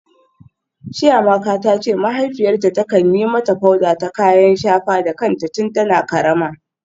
Chiamaka ta ce mahaifiyarta ta kan yi mata powder ta kayan shafa da kanta tun tana karama.